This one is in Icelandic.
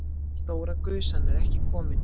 Stóra gusan er ekki komin.